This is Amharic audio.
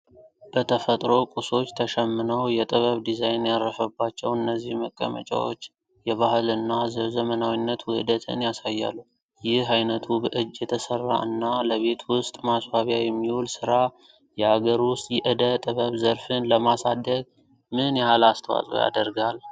በተፈጥሮ ቁሶች ተሸምነው የጥበብ ዲዛይን ያረፈባቸው እነዚህ መቀመጫዎች የባህል እና የዘመናዊነት ውህደትን ያሳያሉ። ይህ ዓይነቱ በእጅ የተሰራ እና ለቤት ውስጥ ማስዋቢያ የሚውል ሥራ የሀገር ውስጥ የእደ ጥበብ ዘርፍን ለማሳደግ ምን ያህል አስተዋጽኦ ያደርጋል?